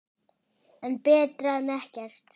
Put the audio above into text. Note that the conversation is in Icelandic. En betra en ekkert.